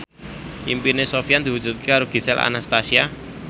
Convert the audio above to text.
impine Sofyan diwujudke karo Gisel Anastasia